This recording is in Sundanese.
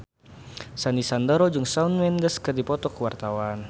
Sandy Sandoro jeung Shawn Mendes keur dipoto ku wartawan